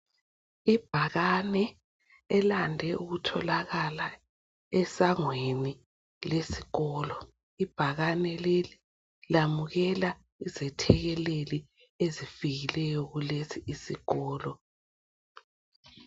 Ibhakane elande ukutholakala esangweni lesikolo. Ibhakane leli lamukela izethekeleli ezifikileyo kulesi isikolo.